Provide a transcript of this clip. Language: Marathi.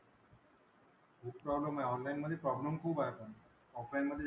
खूप problem आहेत. Online मधे problem खूप आहेत पण. Offline मधे,